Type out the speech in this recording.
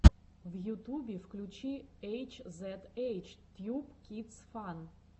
в ютубе включи эйч зед эйч тьюб кидс фан